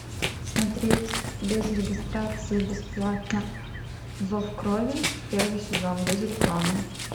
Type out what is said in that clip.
смотреть без регистрации бесплатно зов крови первый сезон без рекламы